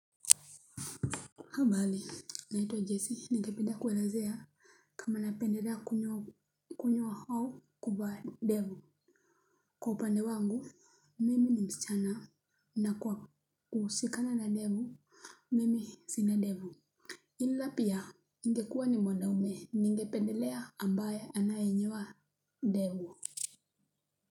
Habari naitwa jessi ningependa kuelezea kama napendelea kunyoa au kuvaa ndevu. Kwa upande wangu mimi ni msichana na kwa kuhusikana na ndevu mimi sina ndevu ila pia ingekuwa ni mwanaume ningependelea ambaye anayenyoa ndevu.